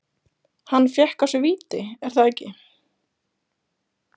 Hann fékk á sig víti, er það ekki?